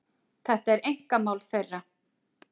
Þetta er einkamál þeirra